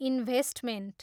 Investment.